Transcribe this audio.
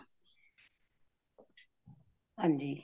ਹਾਂਜੀ